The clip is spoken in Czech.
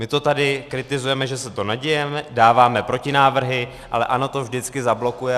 My to tady kritizujeme, že se to neděje, dáváme protinávrhy, ale ANO to vždycky zablokuje.